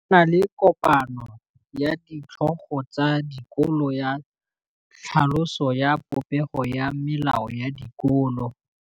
Go na le kopanô ya ditlhogo tsa dikolo ya tlhaloso ya popêgô ya melao ya dikolo.